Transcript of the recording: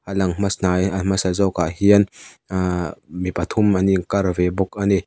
a lang hmas hnai a hmasa zawk ah hian ahhh mi pathum an in kar ve bawk a ni.